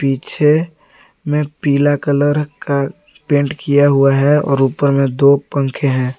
पीछे में पीला कलर का पेंट किया हुआ है और ऊपर में दो पंखे हैं।